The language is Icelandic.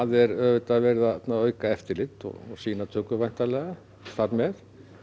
er auðvitað verið að auka eftirlit og sýnatöku væntanlega þar með